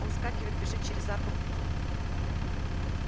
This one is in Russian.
он вскакивает бежит через арку к путям